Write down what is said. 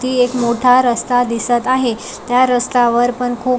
वरती एक मोठा रस्ता दिसत आहे त्या रस्त्यावर पण खूप --